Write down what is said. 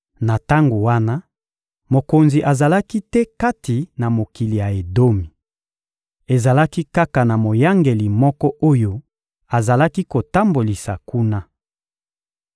Na tango wana, mokonzi azalaki te kati na mokili ya Edomi. Ezalaki kaka na moyangeli moko oyo azalaki kotambolisa kuna.